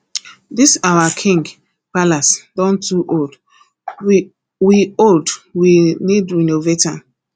this our king palace don too old we old we need renovate am